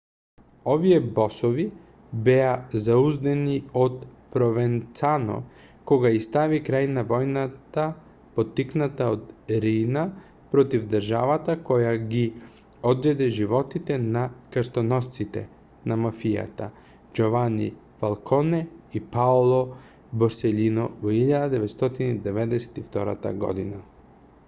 овие босови беа зауздани од провенцано кога ѝ стави крај на војната поттикната од риина против државата која ги одзеде животите на крстоносците на мафијата џовани фалконе и паоло борселино во 1992 година.